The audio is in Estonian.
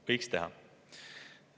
Võiks teha.